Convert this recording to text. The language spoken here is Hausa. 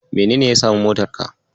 Menene ya samu motarka?